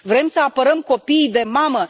Vrem să apărăm copiii de mamă?